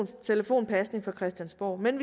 telefonpasning fra christiansborg men